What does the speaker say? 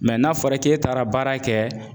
Mɛ n'a fɔra k'e taara baara kɛ